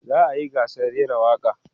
za'a yi gasar rera waƙa